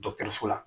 Dɔkɔtɔrɔso la